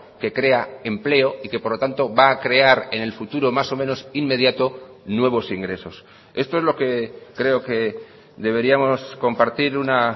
que crea empleo y que por lo tanto va a crear en el futuro más o menos inmediato nuevos ingresos esto es lo que creo que deberíamos compartir una